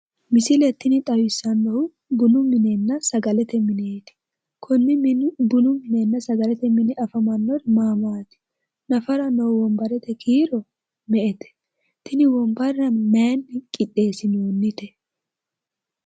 Misile tini xawissannohu bunu minenna sagalete mineeti? Konne Bununna sagalete mine afamannori maati? Nafara noohu wombarete kiiro me'ete? Tini wombarra mayinni qixxeessinoonnite?